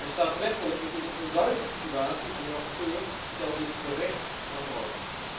Staatsrechtelijk is dit een onduidelijke situatie en de rapporteur stelt dit terecht aan de orde.